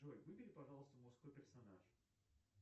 джой выбери пожалуйста мужской персонаж